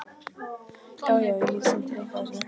Já, já- ég get sýnt þér eitthvað af þessu.